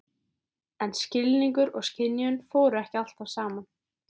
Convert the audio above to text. En skilningur og skynjun fóru ekki alltaf saman.